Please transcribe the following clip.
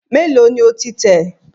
Mélòó ni o ti tẹ̀?